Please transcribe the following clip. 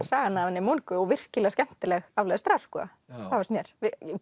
sagan af henni Moniku og virkilega skemmtileg aflestrar sko það finnst mér